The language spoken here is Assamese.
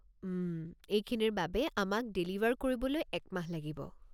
উম, এইখিনিৰ বাবে আমাক ডেলিভাৰ কৰিবলৈ এক মাহ লাগিব।